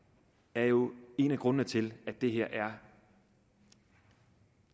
er jo en af grundene til at det her er